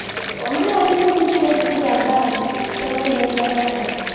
ଅ ମାନେ ଓଡିଶା ଭିତରେ ଯେଟିକି ଜାଗା ଅଛି ସେଇଗୁଡା ସବୁ ଦେଖିବା ପାଇଁ ଆସନ୍ତୁ